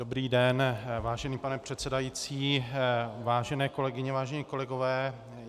Dobrý den, vážený pane předsedající, vážené kolegyně, vážení kolegové.